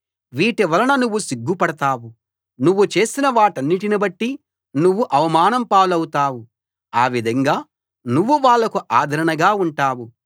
వీటివలన నువ్వు సిగ్గుపడతావు నువ్వు చేసిన వాటన్నిటి బట్టి నువ్వు అవమానం పాలవుతావు ఆ విధంగా నువ్వు వాళ్లకు ఆదరణగా ఉంటావు